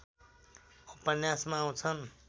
उपन्यासमा आउँछन्